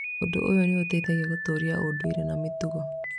Ũndũ ũyũ nĩ ũteithagia gũtũũria ũndũire na mĩtugo.